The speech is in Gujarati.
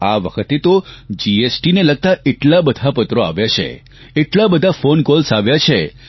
આ વખતે તો જીએસટીને લગતા એટલા બધા પત્રો આવ્યા છે એટલા બધા ફોન કોલ્સ આવ્યા છે